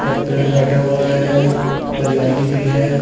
पेड़ कटा हुआ है हरियाली भी है।